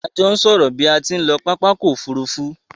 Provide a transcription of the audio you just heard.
A jo n sòrò bi a tí n lo pápákò òfurufù